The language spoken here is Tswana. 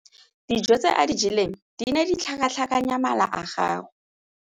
Dijô tse a di jeleng di ne di tlhakatlhakanya mala a gagwe.